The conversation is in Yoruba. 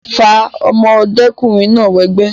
fa ọmọdékùnrin náà wẹgbẹ́